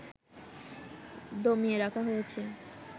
দমিয়ে রাখা হয়েছে